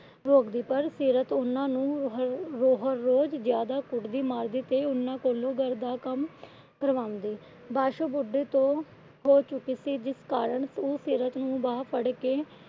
ਰੋਕਦੀ। ਪਰ ਸੀਰਤ ਉਹਨਾਂ ਨੂੰ ਰੋਜ ਜਿਆਦਾ ਕੁੱਟਦੀ ਮਾਰਦੀ। ਤੇ ਇਹਨਾਂ ਕੋਲੋਂ ਘਰ ਦਾ ਕੰਮ ਕਰਵਾਉਂਦੀ। ਪਾਸ਼ੋ ਬੁੱਢੀ ਹੋ ਚੁੱਕੀ ਸੀ ਜਿਸ ਕਾਰਨ ਉਹ ਸੀਰਤ ਨੂੰ ਬਾਹ ਫੜ ਕੇ